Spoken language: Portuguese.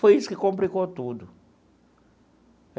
Foi isso que complicou tudo.